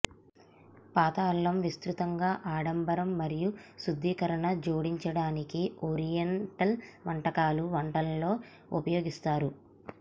పాత అల్లం విస్తృతంగా ఆడంబరం మరియు శుద్ధీకరణ జోడించడానికి ఓరియంటల్ వంటకాలు వంటలలో ఉపయోగిస్తారు